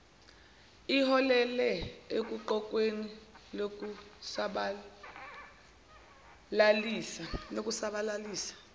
iholele oguqukweni lokusabalalisa